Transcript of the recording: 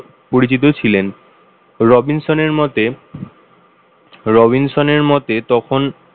পরিচিত ছিলেন রবিনসনের মতে রবিনসনের মতে তখন,